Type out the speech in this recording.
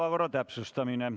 Päevakorra täpsustamine.